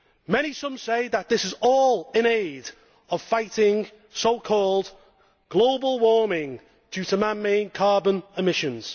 Many say that this is all in aid of fighting so called global warming due to man made carbon emissions.